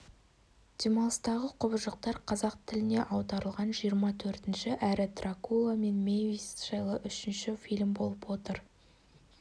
демалыстағы құбыжықтар қазақ тіліне аударылған жиырма төртінші әрі дракула мен мэвис жайлы үшінші фильм болып отыр